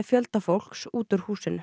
fjölda fólks út úr húsinu